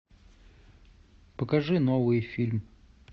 покажи новый фильм